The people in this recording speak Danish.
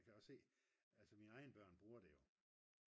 jeg kan jo se altså mine egne børn bruger det jo